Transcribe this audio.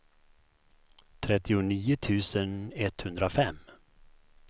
trettionio tusen etthundrafem